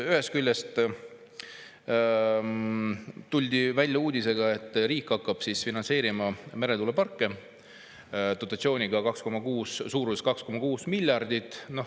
Ühest küljest tuldi välja uudisega, et riik hakkab finantseerima meretuuleparke dotatsiooniga suuruses 2,6 miljardit.